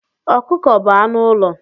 Ọkụkọ bu anụ ụlọ.